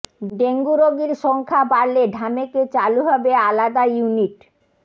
dengue রোগীর সংখ্যা বাড়লে ঢামেকে চালু হবে আলাদা ইউনিট